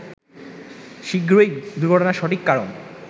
শিগগিরই দুর্ঘটনার সঠিক কারণ